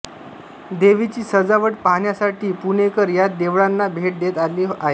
देवीची सजावट पाहण्यासाठी पुणेकर या देवळांना भेट देत आले आहेत